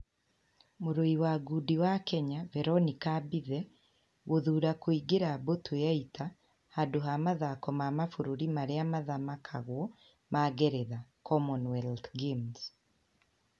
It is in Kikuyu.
Mũrũi wa ngundi wa Kenya, Veronica Mbithe, gũthuura kũingira mbũtũ ya ita handũ ha mathako ma mabũrũri marĩa mathamakagwo ma Ngeretha (Commonwealth games)